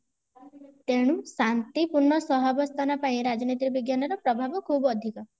ତେଣୁ ଶାନ୍ତିପୂର୍ଣ ସହବସ୍ଥାନ ପାଇଁ ରାଜନୀତି ବିଜ୍ଞାନ ର ପ୍ରଭାବ ଖୁବ ଅଧିକ